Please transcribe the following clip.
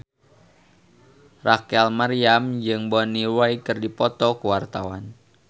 Rachel Maryam jeung Bonnie Wright keur dipoto ku wartawan